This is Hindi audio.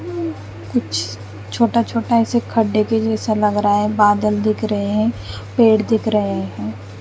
कुछ छोटा छोटा ऐसे खड्डे के ऐसा लग रहा है बादल दिख रहे हैं पेड़ दिख रहे हैं।